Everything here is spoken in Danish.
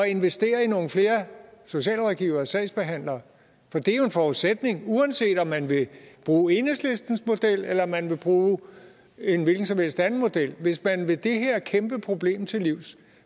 investere i nogle flere socialrådgivere og sagsbehandlere for det er jo en forudsætning uanset om man vil bruge enhedslistens model eller om man vil bruge en hvilken som helst anden model hvis man vil det her kæmpe problem til livs